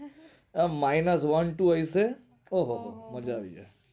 minus one two હશે મજ્જા આવે